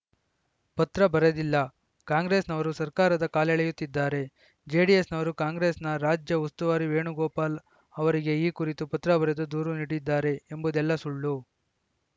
ಪತ್ರ ಬರೆದಿಲ್ಲ ಕಾಂಗ್ರೆಸ್‌ನವರು ಸರ್ಕಾರದ ಕಾಲೆಳೆಯುತ್ತಿದ್ದಾರೆ ಜೆಡಿಎಸ್‌ನವರು ಕಾಂಗ್ರೆಸ್‌ನ ರಾಜ್ಯ ಉಸ್ತುವಾರಿ ವೇಣುಗೋಪಾಲ ಅವರಿಗೆ ಈ ಕುರಿತು ಪತ್ರ ಬರೆದು ದೂರು ನೀಡಿದ್ದಾರೆ ಎಂಬುದೆಲ್ಲ ಸುಳ್ಳು